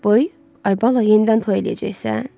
Böy, ay bala, yenidən toy eləyəcəksən?